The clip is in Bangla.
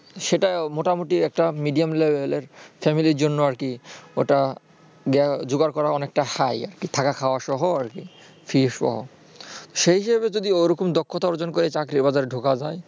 সেটা মোটামুটি একটা medium level এর family -র জন্য জোগাড় করা অনেকটা high আর কি থাকা খাওয়া সহ আর কি fee সহ। সেই হিসাবে যদি ওরকম দক্ষতা অর্জন করে যদি চাকরির বাজারে ঢোকা যায়।